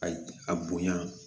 A a bonya